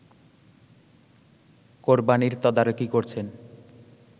কোরবানির তদারকি করছেন